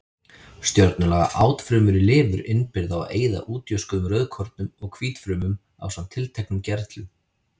Stjörnulaga átfrumur í lifur innbyrða og eyða útjöskuðum rauðkornum og hvítfrumum ásamt tilteknum gerlum.